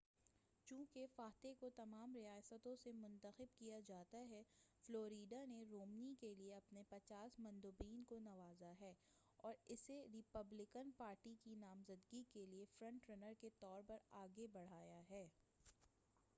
چونکہ فاتح کو تمام ریاستوں سے منتخب کیا جاتا ہے فلوریڈا نے رومنی کیلئے اپنے پچاس مندوبین کو نوازا ہے اور اسے ریپبلکن پارٹی کی نامزدگی کیلئے فرنٹ رنر کے طور پر آگے بڑھایا ہے